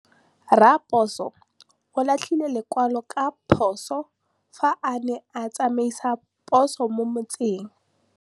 Raposo o latlhie lekwalô ka phosô fa a ne a tsamaisa poso mo motseng.